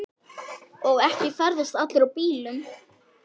Og ekki ferðast allir í bílum.